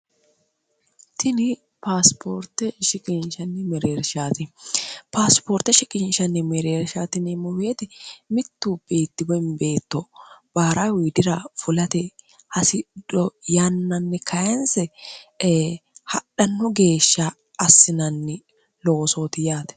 tini sioortesipaasipoorte shikinshanni mireersh tinimmuweeti mittu beetti wembeetto baara wiidira fulate hasido yannanni kayinsi hadhannu geeshsha assinanni loosooti yaate